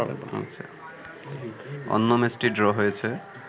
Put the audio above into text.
অন্য ম্যাচটি ড্র হয়েছে